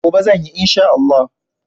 Gobe zan yi in Sha Allah.